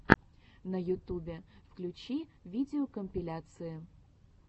на ютубе включи видеокомпиляции